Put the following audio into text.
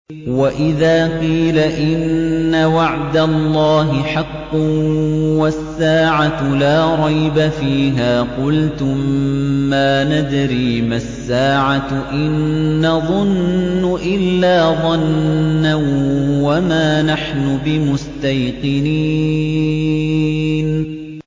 وَإِذَا قِيلَ إِنَّ وَعْدَ اللَّهِ حَقٌّ وَالسَّاعَةُ لَا رَيْبَ فِيهَا قُلْتُم مَّا نَدْرِي مَا السَّاعَةُ إِن نَّظُنُّ إِلَّا ظَنًّا وَمَا نَحْنُ بِمُسْتَيْقِنِينَ